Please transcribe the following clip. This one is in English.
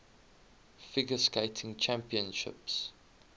figure skating championships